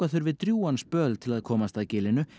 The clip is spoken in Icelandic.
drjúgan spöl til að komast að gilinu